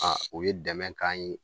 o ye dɛmɛ k'an ye.